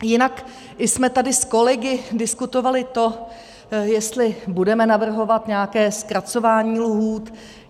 Jinak jsme tady s kolegy diskutovali to, jestli budeme navrhovat nějaké zkracování lhůt.